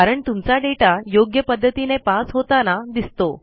कारण तुमचा दाता योग्य पध्दतीने पास होताना दिसतो